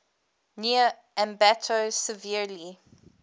near ambato severely